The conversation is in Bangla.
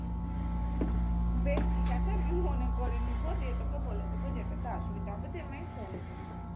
বেশ ঠিকাছে আমি মনে করে নেবো নিয়ে তোকে বলে দেবো যেটাতে অসুবিধে হবে তুই আমাকে phone করিস